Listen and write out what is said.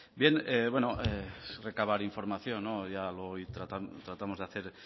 bien es recabar información ya lo tratamos de hacer